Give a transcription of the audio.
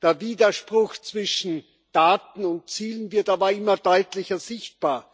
der Widerspruch zwischen Daten und Zielen wird aber immer deutlicher sichtbar.